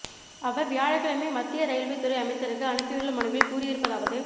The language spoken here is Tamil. அவா் வியாழக்கிழமை மத்திய ரயில்வே துறை அமைச்சருக்கு அனுப்பியுள்ள மனுவில் கூறியிறுப்பதாவது